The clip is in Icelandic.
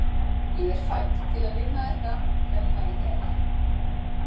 Ég er fædd til að vinna þetta, tremma í hel.